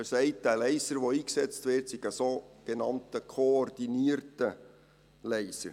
Er sagt, der Laser, der eingesetzt werde, sei ein sogenannt koordinierter Laser.